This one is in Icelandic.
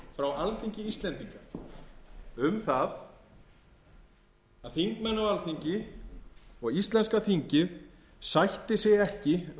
yfirlýsing frá alþingi íslendinga um það að þingmenn á alþingi og íslenska þingið sætti sig ekki